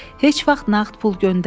Heç vaxt nağd pul göndərmə.